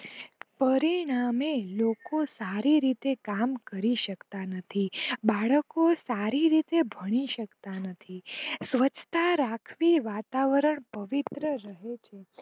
પરિણામે લોકો સારી રીતે કામ કરી સકતા નથી બાળકો સારી રીતે ભણી સકતા નથી. સ્વચ્છ તા રાખવી વાતાવરણ ને પ્રવિત્ર રાખવું.